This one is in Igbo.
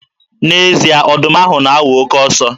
N'ezie, ọdụm ahụ na-awụ oke ọsọ.